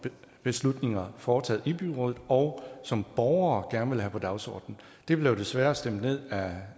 beslutninger foretaget i byrådet og som borgere gerne vil have på dagsordenen det blev desværre stemt ned af